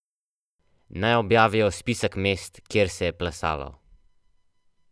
Naj objavijo spisek mest, kjer se je plesalo.